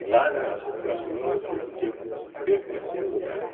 E lá na em Pirassununga eu soube que eu tinha pego o terceiro lugar, né?